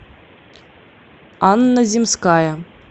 анна земская